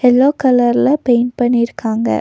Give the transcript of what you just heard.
Yellow கலர்ல paint பண்ணிருக்காங்க.